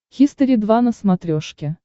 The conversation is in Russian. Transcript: хистори два на смотрешке